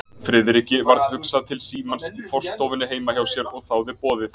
Friðriki varð hugsað til símans í forstofunni heima hjá sér og þáði boðið.